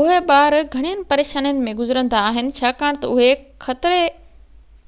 اهي ٻار گهڻين پريشانين ۾ گذرندا آهن ڇاڪاڻ تہ اهي